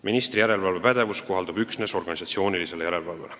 Ministri järelevalvepädevus kohaldub üksnes organisatsioonilisele järelevalvele.